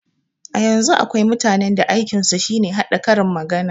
A yanzun akwai mutanen da aikin su shine haɗa karin magana